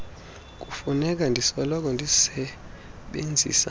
kufuneka ndisoloko ndisebenzisa